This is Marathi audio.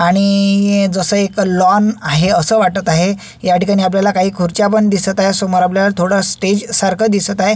आणि जस एक लॉन आहे अस वाटत आहे याठिकाणी आपल्याला काही खुर्च्या पण दिसत आहे समोर आपल्याला थोड स्टेज सारख दिसत आहे.